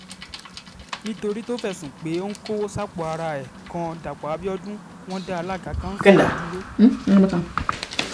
nítorí tó fẹ̀sùn pé ó ń kọwọ́ sápò ara ẹ̀ kan dàpọ̀ abiodun wọn dá alága kanṣu yìí dúró